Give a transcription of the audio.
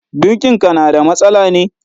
Birkin ka na da matsala ne?